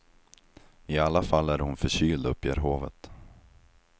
I alla fall är hon förkyld, uppger hovet.